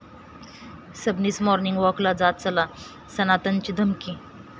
Sabnis morning वॉकला जात चला, सनातनची धमकी